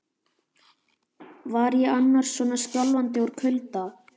Var ég annars svona skjálfandi úr kulda?